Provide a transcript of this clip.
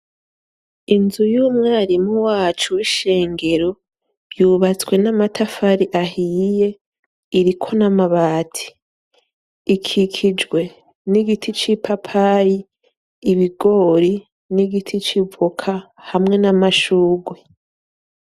Inzu y'umwarimu wacu wishengero yubatswe n'amatafari ahiye iriko n'amabati ikikijwe n’igiti cipapayi, ibigori, n'igiti c'ivoka, hamwe n’amashurwe.